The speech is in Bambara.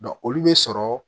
olu be sɔrɔ